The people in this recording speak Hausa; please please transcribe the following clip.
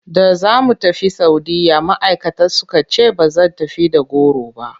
Da za mu tafi Saudiyya ma'aikata suka ce ba zan tafi da goro ba.